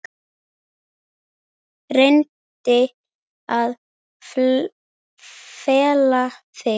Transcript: Reyndi að fela það.